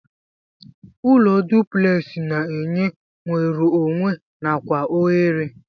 Ụlọ duplex na enye nwerụ onwe nakwa ohere.